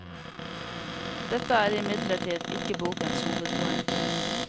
Dette er imidlertid ikke bokens hovedpoeng.